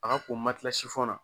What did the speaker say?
A ka ko na